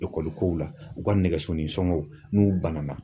Ekɔli kow la, u ka nɛgɛso ni sɔngɔw ,n'u banana.